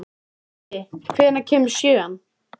Diddi, hvenær kemur sjöan?